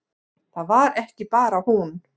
Það var ekki bara hún.